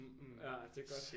Ja det er godt